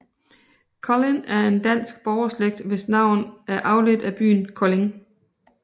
Collin er en dansk borgerslægt hvis navn er afledt af byen Kolding